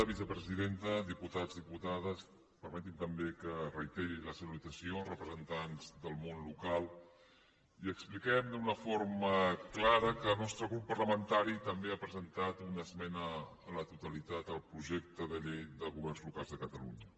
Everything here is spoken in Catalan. vicepresidenta diputats diputades permeti’m també que reiteri la salutació als representants del món local i que expliquem d’una forma clara que el nostre grup parlamentari també ha presentat una esmena a la totalitat al projecte de llei de governs locals de catalunya